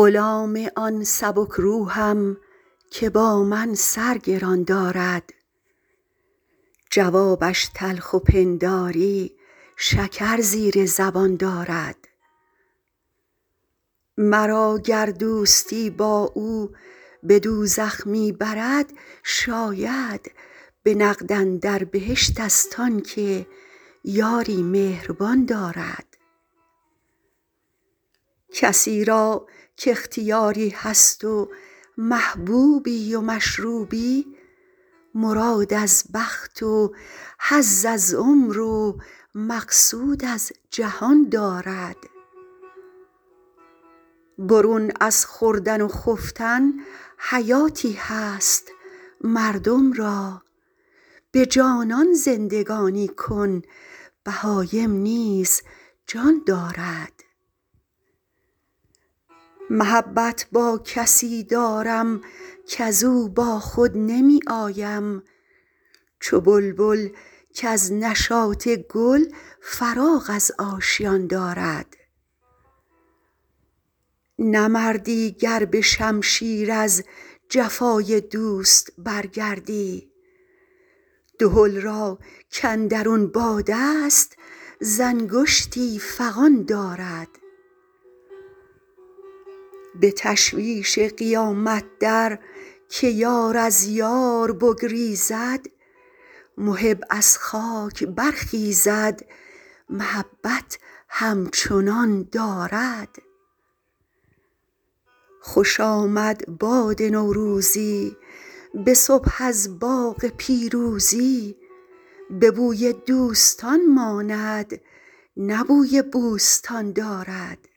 غلام آن سبک روحم که با من سر گران دارد جوابش تلخ و پنداری شکر زیر زبان دارد مرا گر دوستی با او به دوزخ می برد شاید به نقد اندر بهشت ست آن که یاری مهربان دارد کسی را کاختیاری هست و محبوبی و مشروبی مراد از بخت و حظ از عمر و مقصود از جهان دارد برون از خوردن و خفتن حیاتی هست مردم را به جانان زندگانی کن بهایم نیز جان دارد محبت با کسی دارم کز او با خود نمی آیم چو بلبل کز نشاط گل فراغ از آشیان دارد نه مردی گر به شمشیر از جفای دوست برگردی دهل را کاندرون باد است ز انگشتی فغان دارد به تشویش قیامت در که یار از یار بگریزد محب از خاک برخیزد محبت همچنان دارد خوش آمد باد نوروزی به صبح از باغ پیروزی به بوی دوستان ماند نه بوی بوستان دارد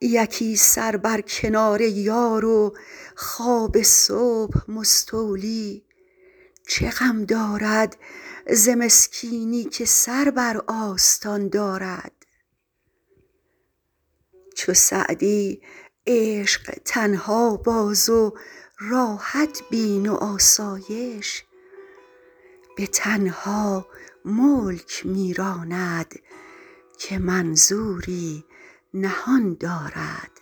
یکی سر بر کنار یار و خواب صبح مستولی چه غم دارد ز مسکینی که سر بر آستان دارد چو سعدی عشق تنها باز و راحت بین و آسایش به تنها ملک می راند که منظوری نهان دارد